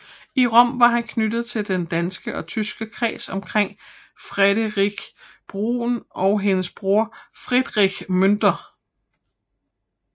I Rom var han knyttet til den danske og tyske kreds omkring Friederike Brun og hendes bror Friedrich Münter